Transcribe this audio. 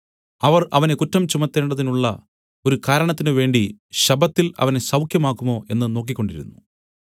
അവർ അവനെ കുറ്റം ചുമത്തേണ്ടതിനുള്ള ഒരു കാരണത്തിനുവേണ്ടി ശബ്ബത്തിൽ അവനെ സൌഖ്യമാക്കുമോ എന്നു നോക്കിക്കൊണ്ടിരുന്നു